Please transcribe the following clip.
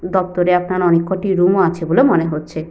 দপ্তরে আপনার অনেক কটি রুম ও আছে বলে মনে হচ্ছে।